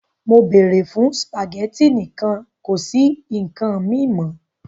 Mo beere fun spaghetti nikan kosi si nkan mi mo!